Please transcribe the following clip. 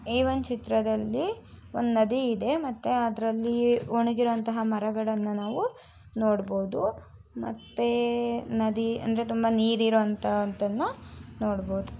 ಈ ಚಿತ್ರದಲಿ ಒಂದು ನದಿ ಇದೆ. ಒಣಗಿರುವ ಮರಗಳನ್ನು ನೋಡಬಹುದು. ನದಿಯಲ್ಲಿ ನೀರು ತುಂಬಿದೆ